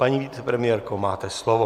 Paní vicepremiérko, máte slovo.